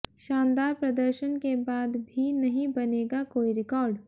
शानदार प्रदर्शन के बाद भी नहीं बनेगा कोई रिकॉर्ड